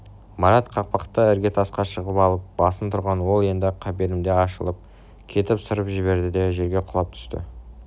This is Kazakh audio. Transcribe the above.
марат кақпақты іргетасқа шығып алып басып тұрған ол енді қапелімде ашылып кетіп сырып жіберді де жерге құлап түсті